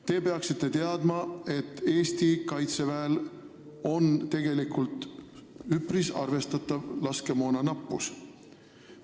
Te peaksite teadma, et Eesti Kaitseväel on tegelikult üpris arvestatav laskemoona nappus.